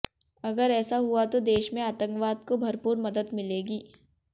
अगर ऐसा हुआ तो देश में आतंकवाद को भरपूर मदद मिलेगी